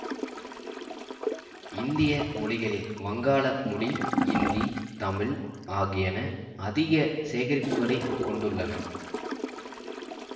இந்திய மொழிகளில் வங்காள மொழி இந்தி தமிழ் ஆகியன அதிக சேகரிப்புகளைக் கொண்டுள்ளன